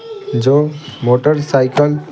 जो motorcycle --